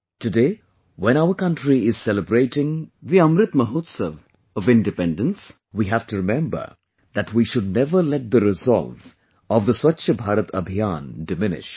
Today, when our country is celebrating the Amrit Mahotsav of Independence, we have to remember that we should never let the resolve of the Swachh Bharat Abhiyan diminish